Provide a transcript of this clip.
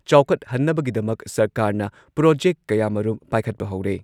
ꯆꯥꯎꯈꯠꯍꯟꯅꯕꯒꯤꯗꯃꯛ ꯁꯔꯀꯥꯔꯅ ꯄ꯭ꯔꯣꯖꯦꯛ ꯀꯌꯥꯃꯔꯨꯝ ꯄꯥꯏꯈꯠꯄ ꯍꯧꯔꯦ꯫